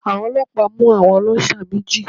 Àwọn ọlọ́pàá mú àwọn ọlọ́ṣà méjì